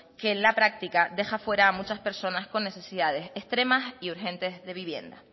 que en la práctica deja fuera a muchas personas con necesidades extremas y urgentes de vivienda